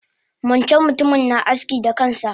Wancan mutumin na aski da kansa